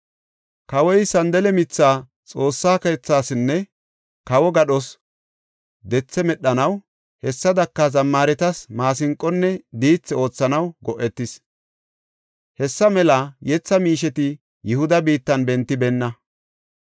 Kawoy sandale mithaa Xoossa keethasinne kawo gadhos dethe medhanaw, hessadaka zammaaretas maasinqonne diithi oothanaw go7etis. Hessa mela yetha miisheti haysafe kase Yihuda biittan bentibeenna.